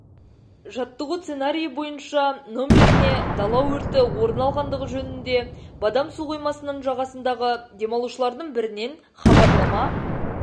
жаттығу сценариі бойынша номеріне дала өрті орын алғандығы жөнінде бадам су қоймасының жағасындағы демалушылардың бірінен хабарлама